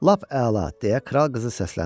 Lap əla, deyə kral qızı səsləndi.